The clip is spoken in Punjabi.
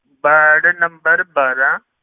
ਵਾਰਡ number ਬਾਰਾਂ